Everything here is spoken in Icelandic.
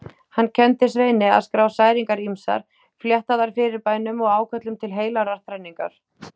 Hann kenndi Sveini að skrá særingar ýmsar, fléttaðar fyrirbænum og áköllum til heilagrar þrenningar.